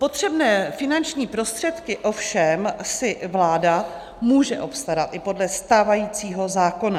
Potřebné finanční prostředky si ovšem vláda může obstarat i podle stávajícího zákona.